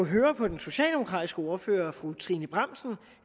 høre på den socialdemokratiske ordfører fru trine bramsen